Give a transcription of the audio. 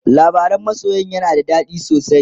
labaran masoyan yana da dadi sosai